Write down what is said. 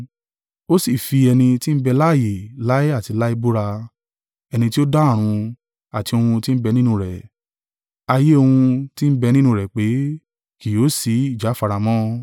Ó sì fi ẹni tí ń bẹ láààyè láé àti láé búra, ẹni tí o dá ọ̀run, àti ohun tí ń bẹ nínú rẹ̀, ayé ohun tí ń bẹ nínú rẹ̀ pé, “Kí yóò si ìjáfara mọ́.